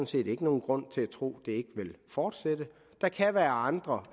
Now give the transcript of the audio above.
set ikke nogen grund til at tro ikke vil fortsætte der kan være andre